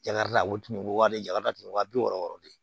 Jagaradi a wo tunun wale jaga datugu wa bi wɔɔrɔ de